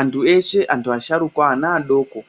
Antu eshe antu asharukwa ana adoko